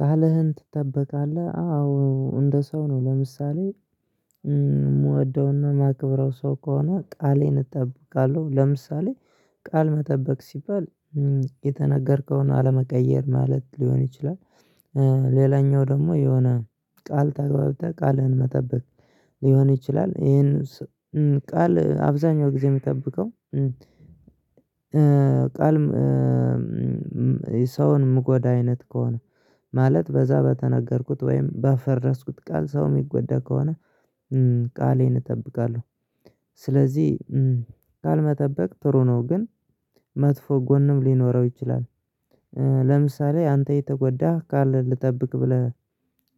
ቃልህን ትጠበቃለህ አዎ እንደ ሰው ነው። ለምሳሌ የምወደውና የማክብረው ሰው ከሆነ ቃሌን እጠብቃለሁ ለምሳሌ ቃል መጠበቅ ሲባል የተነገርከውን አለመቀየር ማለት ሊሆን ይችላል። ሌላኛው ደግሞ የሆነ ቃል ተግባብተህ ቃልህን መጠበቅ ሊሆን ይችላል ይሄንን ቃል አብዛኛው ጊዜ የሚጠብቀው ቃል የሰውን ምጎዳ አይነት ከሆነ ማለት በዛ በተነገርኩት ወይም ባፈረስኩት ቃል ሰው የሚጎዳ ከሆነ ቃሌን እጠብቃለሁ። ስለዚህ ቃል መጠበቅ ጥሩ ነው ግን መጥፎ ጎንም ሊኖረው ይችላል። ለምሳሌ አንተ የተጎዳህ ቃል ልጠብቅ ብለህ